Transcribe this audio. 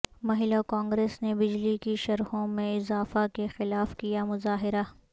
مہیلاکانگریس نے بجلی کی شرحوں میں اضافہ کے خلاف کیامظاہرہ